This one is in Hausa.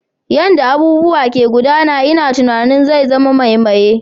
Yanda abubuwa ke gudana ina tunanin zai zama mai maye.